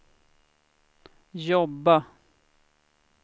jobba